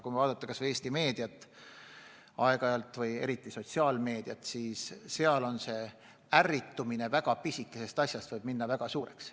Kui vaadata kas või Eesti meediat, eriti sotsiaalmeediat, siis näeme, et ärritumine väga pisikesest asja peale võib minna väga suureks.